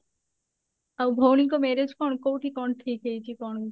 ଆଉ ଭଉଣୀଙ୍କ marriage କଣ କଉଠି କଣ ଠିକ ହେଇଛି କଣ